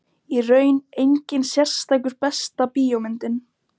Í raun enginn sérstakur Besta bíómyndin?